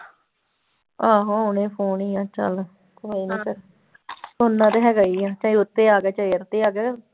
ਆਹੋ ਆਉਣੇ ਫ਼ੋਨ ਹੀ ਆਂ ਚੱਲ ਕੋਈ ਨਾ ਫਿਰ ਆਉਂਦਾ ਤੇ ਹੈਗਾ ਹੀ ਆ ਚਾਹੇ ਉਹ ਤੇ ਆ ਗਿਆ, ਚਾਹੇ ਇਹ ਤੇ ਆ ਗਿਆ।